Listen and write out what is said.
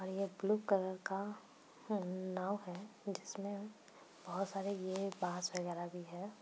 और यह blue colour का उ नाव है जिसमें बहुत सारे ये बास वगैरा भी है।